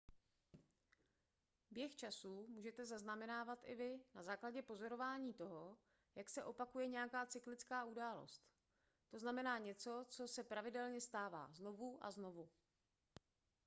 běh času můžete zaznamenávat i vy na základě pozorování toho jak se opakuje nějaká cyklická událost to znamená něco co se pravidelně stává znovu a znovu